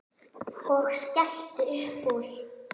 Og skellti upp úr.